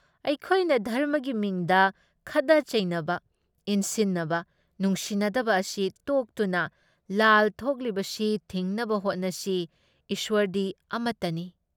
ꯑꯩꯈꯣꯏꯅ ꯙꯔꯝꯃꯒꯤ ꯃꯤꯡꯗ ꯈꯠꯅ ꯆꯩꯅꯕ, ꯏꯟꯁꯤꯟꯅꯕ, ꯅꯨꯡꯁꯤꯅꯗꯕ ꯑꯁꯤ ꯇꯣꯛꯇꯨꯅ ꯂꯥꯜ ꯊꯣꯛꯂꯤꯕꯁꯤ ꯊꯤꯡꯅꯕ ꯍꯣꯠꯅꯁꯤ ꯏꯁ꯭ꯋꯔꯗꯤ ꯑꯃꯠꯇꯅꯤ ꯫